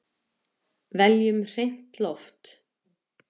Veljum hreint loft!